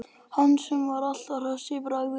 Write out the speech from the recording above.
Hann sem er alltaf hress í bragði.